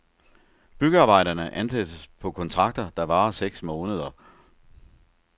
Byggearbejderne ansættes på kontrakter, der varer seks måneder.